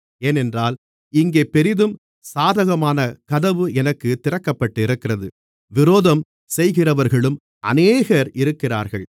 ஏனென்றால் இங்கே பெரிதும் சாதகமான கதவு எனக்குத் திறக்கப்பட்டிருக்கிறது விரோதம் செய்கிறவர்களும் அநேகர் இருக்கிறார்கள்